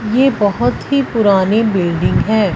ये बहुत ही पुरानी बिल्डिंग है।